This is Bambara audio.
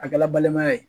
A kɛla balimaya ye